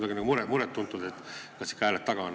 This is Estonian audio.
On nagu kuidagi muret tuntud, et kas siin ikka hääled taga on.